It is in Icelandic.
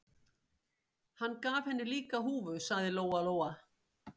Hann gaf henni líka húfu, sagði Lóa Lóa.